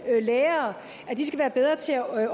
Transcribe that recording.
lærere skal være bedre til at